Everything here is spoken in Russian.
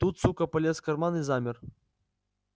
тут сука полез в карман и замер